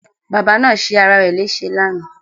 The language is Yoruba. Bàbá náà ṣe ara rẹ̀ lẹ́sẹ̀ lánàá